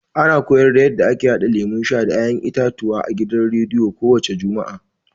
A na koyarda yanda ake haɗa lemun sha da ya'yan itatuwa a gidan rediyo ko wace juma'a.